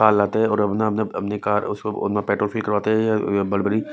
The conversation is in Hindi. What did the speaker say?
कार लाते है और अपना-अपना अपनी कार उसमें पेट्रोल फील करवाते है बड़ी-बड़ी --